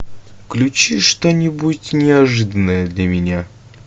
включи что нибудь неожиданное для меня